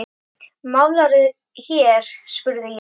Málarðu hér? spurði ég.